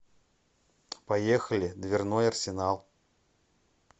поехали дверной арсенал